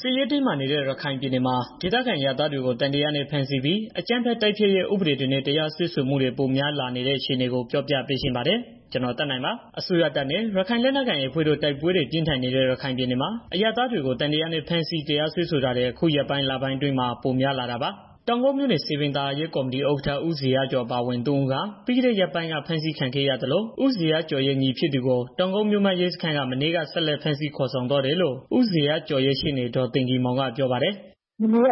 စစ်ရေးတင်းမာနေတဲ့ ရခိုင်ပြည်နယ်မှာ ဒေသခံအရပ်သားတွေကို သံသယနဲ့ ဖမ်းဆီးပြီး အကြမ်းဖက် တိုက်ဖျက်ရေး ဥပဒေတွေနဲ့ တရားစွဲမှုတွေ ပိုမို များပြားလာနေတဲ့ အခြေအနေကို ပြောပြပေးချင်ပါတယ်။ ဒီအကြောင်း ဗွီအိုအေမြန်မာပိုင်းသတင်းထောက် ကိုသက်နိုင်က တင်ပြပေးပါမယ်။ အစိုးရတပ်နဲ့ ရခိုင်လက်နက်ကိုင် AA အဖွဲ့တို့ တိုက်ပွဲတွေပြင်းထန်နေတဲ့ ရခိုင်ပြည်နယ်မှာအရပ်သားတွေကို သံသယနဲ့ ဖမ်းဆီးတရားစွဲဆိုတာတွေ အခု ရက်ပိုင်း၊ လပိုင်းအတွင်း ပိုများလာတာပါ။ တောင်ကုတ်မြို့နယ် စည်ပင်သာယာရေးကော်မတီဥက္ကဋ္ဌ ဦးဇေယျကျော် အပါအဝင် သုံးဦးဟာပြီးခဲ့တဲ့ ရက်ပိုင်းက ဖမ်းဆီးခံခဲ့ရသလို၊ ဦးဇေယျကျော်ရဲ့ ညီဖြစ်သူကို တောင်ကုတ်မြို့မရဲစခန်းက မနေ့က ဆက်လက်ဖမ်းဆီး ခေါ်ဆောင်သွားတယ်လို့ ဦးဇေယျကျော်ရဲ့ ရှေ့နေ ဒေါ်သိဂီ ၤမောင်က ပြောပါတယ်။ "မနေ့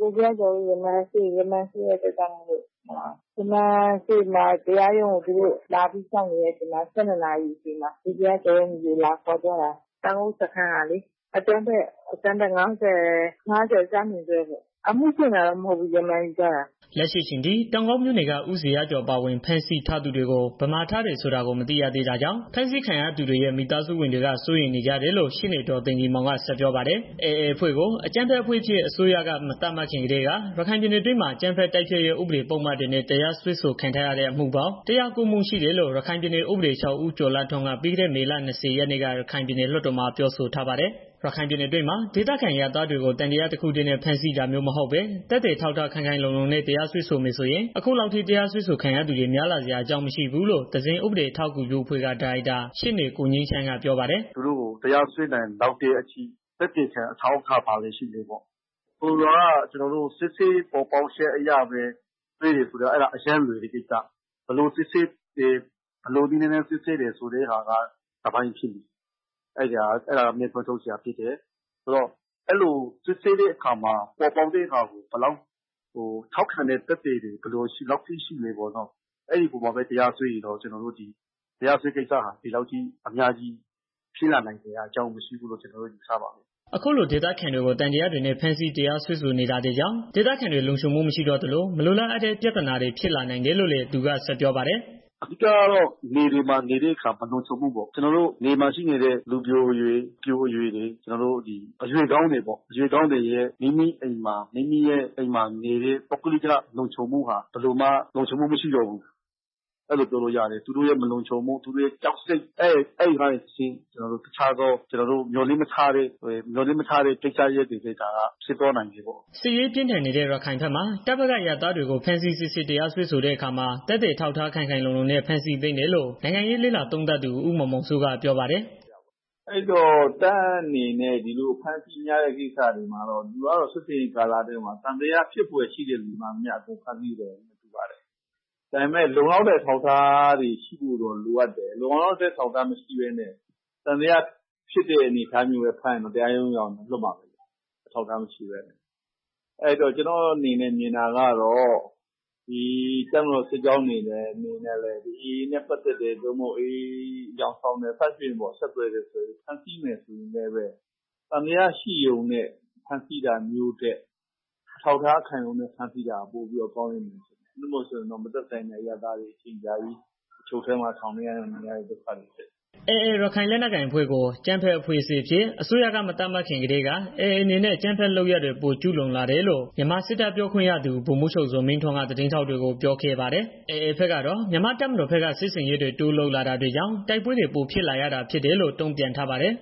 က ကိုဇေယျကျော်တို့ ရမာန်ရှိတော့ သူတို့က တရားရုံကို လာပြီးတော့ စောင့်နေတာ အချိန်မှာ ၁၂နာရီ ကျော်လောက်မှာ ကိုဇေယျကျော်ရဲ့ ညီကို လာခေါ်သွားတာ တောင်ကုတ်စခန်းကလေ အကြမ်းဖက် ၅၀ (ဈ)နဲ့ ပေါ့။ အမှုဖွင့်တာတော့ မဟုတ်ဘူး။ ရမာန်ယူထားတာ။" လက်ရှိအချိန်ထိ တောင်ကုတ်မြို့နယ်က ဦးဇေယျကျော်အပါအဝင် ဖမ်းဆီးထားသူတွေကို ဘယ်မှားထားတယ်ဆိုတာကို မသိရသေးတာကြောင့် ဖမ်းဆီးခံရသူတွေရဲ့ မိသားစုဝင်တွေက စိုးရိမ်နေကြတယ်လို့ ရှေ့နေ ဒေါ်သိဂီ ၤမောင်က ဆက်ပြောပါတယ်။ AA အဖွဲ့ကို အကြမ်းဖက်အဖွဲ့အဖြစ် အစိုးရက မသတ်မှတ်ခင်ကတည်းက ရခိုင်ပြည်နယ်အတွင်းမှာ အကြမ်းဖက် တိုက်ဖျက်ရေးပုဒ်မတွေနဲ့ တရားစွဲဆိုခံထားရတဲ့ အမှုပေါင်း ၁၀၉ မှု ရှိတယ်လို့ ရခိုင်ပြည်နယ် ဥပဒေချုပ် ဦးကျော်လှထွန်းက ပြီးခဲ့တဲ့ မေလ ၂၀ ရက်နေ့က ပြည်နယ်လွှတ်တော်မှာ ပြောဆိုထားပါတယ်။ ရခိုင်ပြည်နယ်အတွင်းမှာ ဒေသခံအရပ်သားတွေကို သံသယတစ်ခုတည်းနဲ့ ဖမ်းဆီးတာမျိုးမဟုတ်ပဲနဲ့ သက်သေ အထောက်အထားခိုင်ခိုင်လုံလုံနဲ့ တရားစွဲဆိုမယ်ဆိုရင် အခုလောက်ထိ တရားစွဲဆိုခံသူတွေ များလာစရာ အကြောင်း မရှိဘူးလို့ သဇင်ဥပဒေအထောက်အကူပြုအဖွဲ့က ဒါရိုက်တာ ရှေ့နေကိုငြိမ်းချမ်းက ပြောပါတယ်။ "သူတို့ကို တရားစွဲနိုင်လောက်တဲ့အထိ သက်သေခံအထောက်အထား ဘာတွေရှိလဲပေါ့ ဆိုလိုတာကကျနော်တို့ စစ်ဆေးပေါ်ပေါက်ချက်အရ စွဲတယ်ဆိုတာက အရမ်းကို လွယ်တဲ့ ကိစ္စ ဘယ်လိုနည်းလမ်းနဲ့ စစ်ဆေးတယ်ဆိုတာက တစ်ပိုင်းပေါ့။ စစ်ဆေးတဲ့ အခါ စစ်ဆေးချက်ကို ဘယ်လောက်ထောက်ခံမှု ရှိလဲပေါ့နော်။ အဲအပေါ်မှာပဲ တရားစွဲတယ်ဆိုရင်တော့ တရားစွဲတဲ့ ကိစ္စဟာ ဒီလောက်ထိ များလာစရာအကြောင်း မရှိဘူးလို့ ကျနော်တို့ မြင်တယ်။" အခုလို ဒေသခံတွေကို သံသယတွေနဲ့ ဖမ်းဆီး တရားစွဲဆိုနေတာတွေကြောင့် ဒေသခံတွေလုံခြုံမှု မရှိတော့သလို မလိုလားအပ်တဲ့ ပြဿနာတွေ ဖြစ်လာနိုင်တယ်လို့ လည်း သူက ဆက်ပြောပါတယ်။ "အဓိကတော့ မြေပြင်မှာနေတဲ့အခါကျတော့ လုံခြုံမှုပေါ့။ ကျနော်တို့ နယ်မှာရှိနေတဲ့ လူပျိုအရွယ် အပျိုအရွယ်တွေ အရွယ်ကောင်းတွေပေါ့။ မိမိအိမ်မှာနေပြီး ပုဂ္ဂလိက လုံခြုံမှုဟာ ဘယ်လိုမှ မရှိတော့ဘူး။ သူတို့ရဲ့ မလုံခြုံမှု သူတို့ရဲ့ ကြောက်စိတ်ကနေတစ်ဆင့် တစ်ခြားကျနော်တို့ မျှော်လင့်မထားတဲ့ ကိစ္စရပ်တွေလည်း ဖြစ်သွားနိုင်တယ်။" စစ်ရေးပြင်းထန်နေတဲ့ ရခိုင်ဘက်မှာ တပ်ဘက်က အရပ်သားတွေကို ဖမ်းဆီးစစ်ဆေးတရားစွဲဆိုတဲ့ အခါမှာ သက်သေအထောက်အထားခိုင်ခိုင်လုံလုံနဲ့ ဖမ်းဆီးသင့်တယ်လို့ နိုင်ငံရေး လေ့လာသုံးသပ်သူ ဦးမောင်မောင်စိုးက ပြောပါတယ်။ "တပ်ဘက်ကတော့ ဒီလို စစ်ဆင်ရေးအတွင်းမှာ သံသယရှိတဲ့ လူတွေအားလုံးကိုတော့ ဖမ်းဆီးစစ်ဆေးမှာပဲ ဒါပေမယ့် လုံလောက်တဲ့ အထောက်အထားတွေရှိဖို့တော့ လိုအပ်တယ်။ လုံလောက်တဲ့ အထောက်အထား မရှိဘဲနဲ့ သံသယရှိတဲ့အနေအထားနဲ့ ဖမ်းရင်တော့ တရားရုံးရောက်ရင်တော့ လွှတ်မှာပဲ။ အဲတော့ ကျနော်မြင်တာက တပ်မတော်စစ်ကြောင်းအနေနဲ့ AA နဲ့ ပတ်သတ်တယ် AA လို့ သံသယ ရှိတယ် အယောင်ဆောင်တယ် ဆက်သွယ်တာရှိရင်တောင် သံသယနဲ့ ဖမ်းတာထက် အထောက်အထားခိုင်လုံနဲ့ ဖမ်းဆီးတာ ပိုပြီးတော့ ကောင်းမယ်ထင်တယ်။ မဟုတ်ရင် မသက်ဆိုင်တဲ့ အရပ်သားတွေ အချုပ်ထဲ ထောင်ထဲမှာ အချိန်အကြာကြီး ဒုက္ခရောက်ကြရတယ်။" AA ရခိုင်လက်နက်ကိုင်အဖွဲ့ကို အကြမ်းဖက်အဖွဲ့အဖြစ် အစိုးရက မသတ်မှတ်ခင်ကတည်းက AA အနေနဲ့ အကြမ်းဖက်လုပ်ရပ်တွေ ပိုကျူးလွန်လာတယ်လို့ မြန်မာစစ်တပ် ပြောခွင့်ရသူ ဗိုလ်မှူးချုပ်ဇော်မင်းထွန်းက သတင်းထောက်တွေကို ပြောခဲ့ပါတယ်။ AA ဘက်ကတော့ မြန်မာတပ်မတော်ဘက်က စစ်ဆင်ရေးတွေ တိုးလုပ်လာတာကြောင့်တိုက်ပွဲတွေ ပိုဖြစ်လာတာလို့ တုံ့ပြန်ထားပါတယ်